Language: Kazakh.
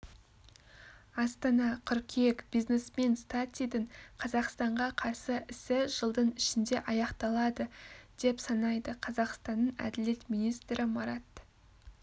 астана қыркүйек бизнесмен статидің қазақстанға қарсы ісі жылдың ішінде аяқталады деп санайды қазақстанның әділет министрі марат